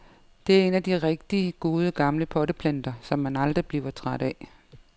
Det er en af de rigtig gode, gamle potteplanter, som man aldrig bliver træt af.